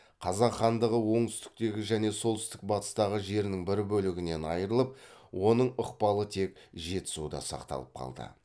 қазақ хандығы оңтүстіктегі және солтүстік батыстағы жерінің бір бөлігінен айрылып оның ықпалы тек жетісуда сақталып қалды